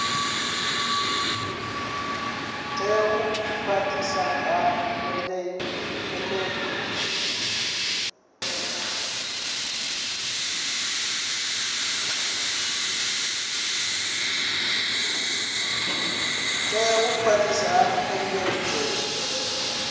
tea u khwathiswa ha engedzwa